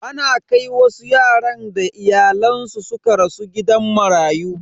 Ana kai wasu yaran da iyayensu suka rasu gidan marayu.